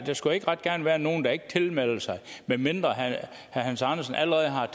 skulle ikke ret gerne være nogle der ikke tilmelder sig medmindre herre hans andersen allerede har